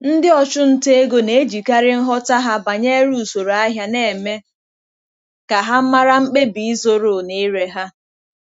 Ndị ọchụnta ego na-ejikarị nghọta ha banyere usoro ahịa na-eme ka ha mara mkpebi ịzụrụ na ire ha.